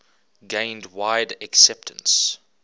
gained wide acceptance